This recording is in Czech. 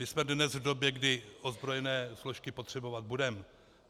My jsme dnes v době, kdy ozbrojené složky potřebovat budeme.